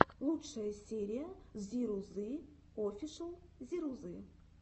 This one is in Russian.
лучшая серия зирузы офишл зирузы